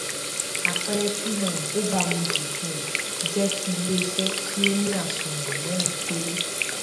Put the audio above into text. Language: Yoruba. àpẹẹrẹ tí um ó baamu ju um jẹ ti iléiṣẹ tí ó ní àsùnwòn mẹrin péré